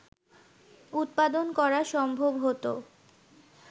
উৎপাদন করা সম্ভব হতো